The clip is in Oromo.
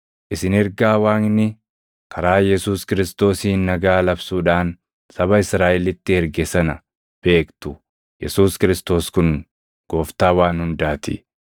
Isin ergaa Waaqni karaa Yesuus Kiristoosiin nagaa labsuudhaan saba Israaʼelitti erge sana beektu; Yesuus Kiristoos kun Gooftaa waan hundaa ti.